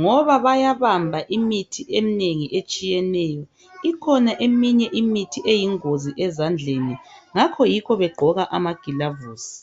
ngoba bayabamba imithi eminengi etshiyeneyo. Ikhona eminye imithi eyingozi ezandleni ngakho yikho begqoka amaglavuzi.